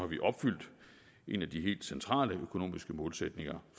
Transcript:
vi opfyldt en af de helt centrale økonomiske målsætninger